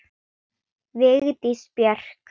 Vigdís Björk.